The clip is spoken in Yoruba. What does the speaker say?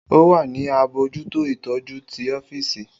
O wa ni abojuto itọju ti ọfiisi.